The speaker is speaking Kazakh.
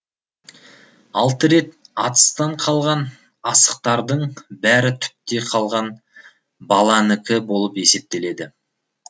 алты рет атыстан қалған асықтардың бәрі түпте қалған баланікі болып есептеледі